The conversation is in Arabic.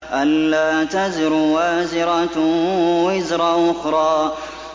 أَلَّا تَزِرُ وَازِرَةٌ وِزْرَ أُخْرَىٰ